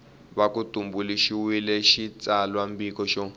va ku tumbuluxiwile xitsalwambiko xa